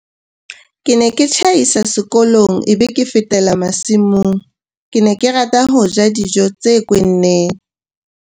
"Ke ne ke tjhaisa sekolong e be ke fetela masimong. Ke ne ke rata ho ja dijo tse kwenneng"